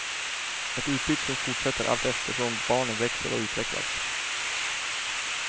Ett utbyte som fortsätter allteftersom barnen växer och utvecklas.